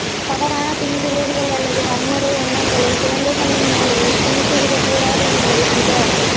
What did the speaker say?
தவறான பின்விளைவுகள் அல்லது வன்முறை எண்ணங்களைக் குழந்தைகளின் மூளையில் திணித்துவிடக் கூடாதுஎன்பதே மிக